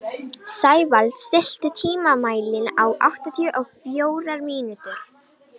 Sævald, stilltu tímamælinn á áttatíu og fjórar mínútur.